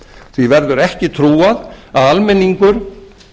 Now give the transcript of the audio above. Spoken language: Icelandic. því verður ekki trúað að almenningur